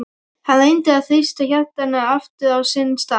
Hann reyndi að þrýsta hjartanu aftur á sinn stað.